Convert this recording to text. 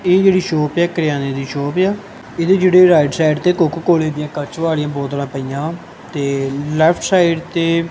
ਇਹ ਜਿਹੜੀ ਸ਼ੌਪ ਹੈ ਕਰਿਆਨੇ ਦੀ ਸ਼ੋਪ ਆ ਇਹਦੇ ਜਿਹੜੇ ਰਾਈਟ ਸਾਈਡ ਤੇ ਕੋਕੋ ਕੋਲੇ ਦੀਆਂ ਕੱਚ ਵਾਲੀਆ ਬੋਤਲਾਂ ਪਈਆਂ ਤੇ ਲੈਫਟ ਸਾਈਡ ਤੇ --